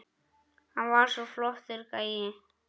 Hann var svo flottur gæi.